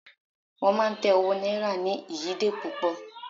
wán ma tẹ owó náírà ni ìyíde pupo